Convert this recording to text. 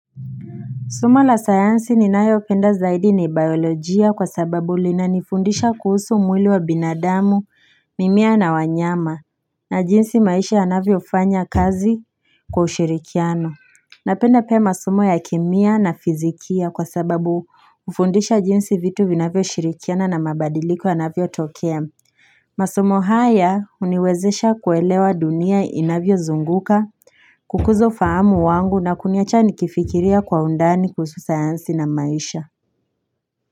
Somo la sayansi ni nayo penda zaidi ni biolojia kwa sababu lina nifundisha kuhusu mwili wa binadamu, mimea na wanyama, na jinsi maisha yanavyo fanya kazi kwa ushirikiano. Napenda pia masomo ya kemia na fizikia kwa sababu hufundisha jinsi vitu vinavyo shirikiana na mabadiliko yanavyo tokea. Masomo haya huniwezesha kuelewa dunia inavyo zunguka, kukuza ufahamu wangu na kuniacha ni kifikiria kwa undani kuhusu sayansi na maisha.